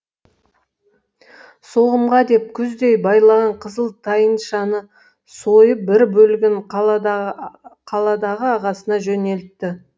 соғымға деп күздей байлаған қызыл тайыншаны сойып бір бөлігін қаладағы ағасына жөнелтті